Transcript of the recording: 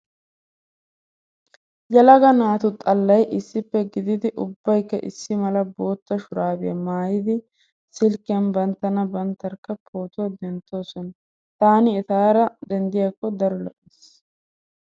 Yelaga naatu xallay issippe gididi ubbaykka issi mala bootta shuraabiya maayidi silkkiyan banttana banttarkka pootuwa denttoosona. Taani etaara denddiyakko daro lo'ees.